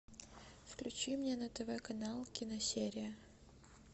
включи мне на тв канал киносерия